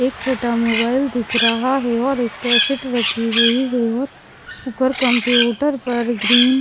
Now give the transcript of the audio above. एक छोटा मोबाइल दिख रहा है और एक कैसेट रखी हुई है और ऊपर कंप्यूटर पर ग्रीन --